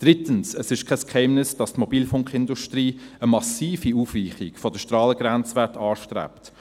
Drittens: Es ist kein Geheimnis, dass die Mobilfunkindustrie eine massive Aufweichung der Strahlengrenzwerte anstrebt.